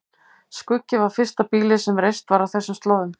Skuggi var fyrsta býlið sem reist var á þessum slóðum.